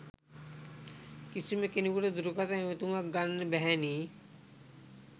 කිසිම කෙනෙකුට දුරකථන ඇමතුමක්‌ගන්න බැහැනේ